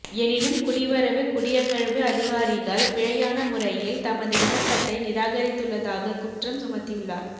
எனினும் குடிவரவு குடியகழ்வு அதிகாரிகள் பிழையான முறையில் தமது விண்ணப்பத்தை நிராகரித்துள்ளதாகக் குற்றம் சுமத்தியுள்ளார்